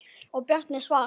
Og Bjarni svarar.